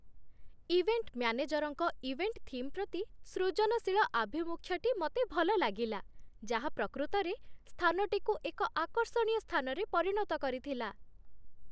event ମ୍ୟାନେଜର୍‌ଙ୍କ event theme ପ୍ରତି ସୃଜନଶୀଳ ଆଭିମୁଖ୍ୟଟି ମୋତେ ଭଲ ଲାଗିଲା, ଯାହା ପ୍ରକୃତରେ ସ୍ଥାନଟିକୁ ଏକ ଆକର୍ଷଣୀୟ ସ୍ଥାନରେ ପରିଣତ କରିଥିଲା